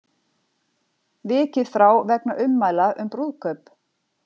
Vikið frá vegna ummæla um brúðkaup